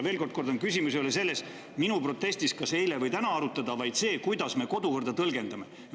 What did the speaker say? Kordan, et minu protesti puhul ei ole küsimus arutelu – kas eile või täna –, vaid selles, kuidas me kodukorda tõlgendame.